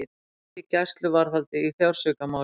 Tveir í gæsluvarðhald í fjársvikamáli